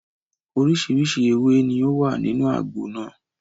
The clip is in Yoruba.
Oríṣiríṣi ewé ni ó wà nínú àgbo náà.